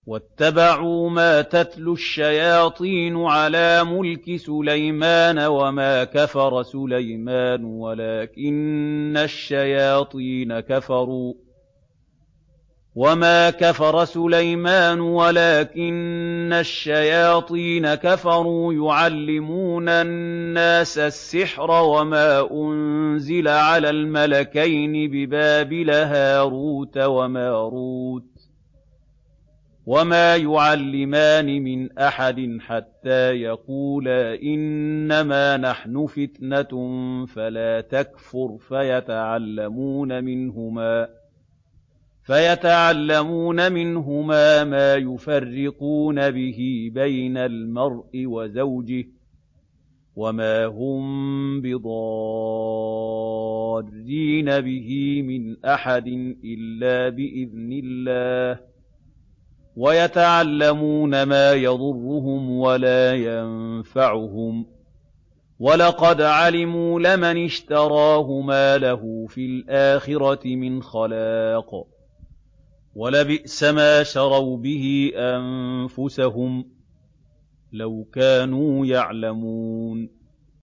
وَاتَّبَعُوا مَا تَتْلُو الشَّيَاطِينُ عَلَىٰ مُلْكِ سُلَيْمَانَ ۖ وَمَا كَفَرَ سُلَيْمَانُ وَلَٰكِنَّ الشَّيَاطِينَ كَفَرُوا يُعَلِّمُونَ النَّاسَ السِّحْرَ وَمَا أُنزِلَ عَلَى الْمَلَكَيْنِ بِبَابِلَ هَارُوتَ وَمَارُوتَ ۚ وَمَا يُعَلِّمَانِ مِنْ أَحَدٍ حَتَّىٰ يَقُولَا إِنَّمَا نَحْنُ فِتْنَةٌ فَلَا تَكْفُرْ ۖ فَيَتَعَلَّمُونَ مِنْهُمَا مَا يُفَرِّقُونَ بِهِ بَيْنَ الْمَرْءِ وَزَوْجِهِ ۚ وَمَا هُم بِضَارِّينَ بِهِ مِنْ أَحَدٍ إِلَّا بِإِذْنِ اللَّهِ ۚ وَيَتَعَلَّمُونَ مَا يَضُرُّهُمْ وَلَا يَنفَعُهُمْ ۚ وَلَقَدْ عَلِمُوا لَمَنِ اشْتَرَاهُ مَا لَهُ فِي الْآخِرَةِ مِنْ خَلَاقٍ ۚ وَلَبِئْسَ مَا شَرَوْا بِهِ أَنفُسَهُمْ ۚ لَوْ كَانُوا يَعْلَمُونَ